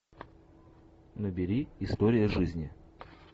набери история жизни